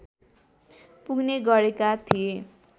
पुग्ने गरेका थिए